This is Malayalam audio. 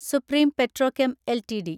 supreme Petrochem LTD